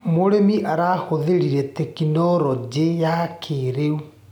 Mũrĩmi arahũthĩrire tekinologĩ ya kĩrĩu.